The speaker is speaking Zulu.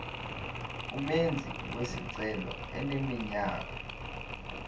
umenzi wesicelo eneminyaka